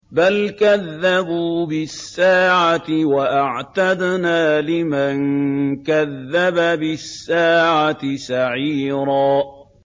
بَلْ كَذَّبُوا بِالسَّاعَةِ ۖ وَأَعْتَدْنَا لِمَن كَذَّبَ بِالسَّاعَةِ سَعِيرًا